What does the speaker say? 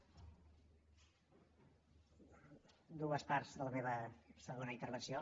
dues parts de la meva segona intervenció